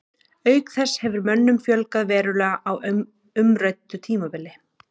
Auk þess hefur mönnum fjölgað verulega á umræddu tímabili.